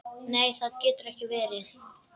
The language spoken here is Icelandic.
Nei, það getur ekki verið.